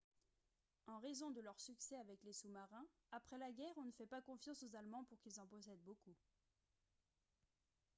en raison de leur succès avec les sous-marins après la guerre on ne fait pas confiance aux allemands pour qu'ils en possèdent beaucoup